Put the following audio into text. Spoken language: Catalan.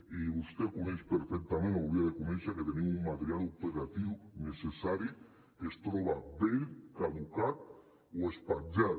i vostè coneix perfectament o hauria de conèixer que tenim un material operatiu necessari que es troba vell caducat o espatllat